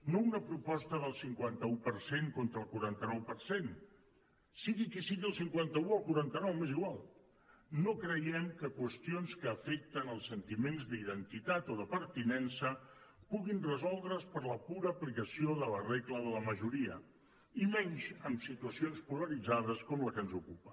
no una proposta del cinquanta un per cent contra el quaranta nou per cent sigui qui sigui el cinquanta un o el quaranta nou m’és igual no creiem que qüestions que afecten els sentiments d’identitat o de pertinença puguin resoldre’s per la pura aplicació de la regla de la majoria i menys en situacions polaritzades com la que ens ocupa